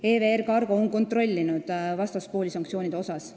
EVR Cargo on kontrollinud vastaspooli sanktsioonidega seoses.